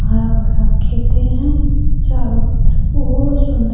हरा भरा खेते हैं | चारो तरफ बहोत सुन्दर --